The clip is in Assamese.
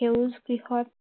সেউজ গৃহত